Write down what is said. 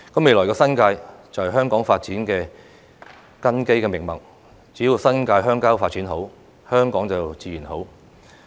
未來的新界是香港發展的根基命脈，只要新界鄉郊發展好，香港便自然好。